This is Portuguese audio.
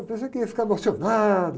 Eu pensei que ia ficar emocionado.